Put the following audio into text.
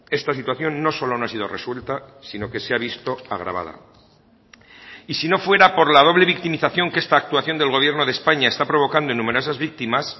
esta situación no solo no ha sido resuelta sino que se ha visto agravada y si no fuera por la doble victimización que esta actuación del gobierno de españa está provocando en numerosas víctimas